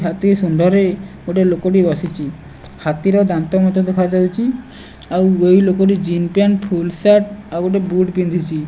ହାତୀ ଶୁଣ୍ଢରେ ଗୋଟିଏ ଲୋକଟି ବସିଚି। ହାତୀର ଦାନ୍ତ ମଧ୍ୟ ଦେଖାଯାଉଚି। ଆଉ ଏଇ ଲୋକଟି ଜିନ ପ୍ୟାଣ୍ଟ୍ ଫୁଲ ସାର୍ଟ ଆଉ ଗୋଟେ ବୁଟ ପିନ୍ଧିଚି।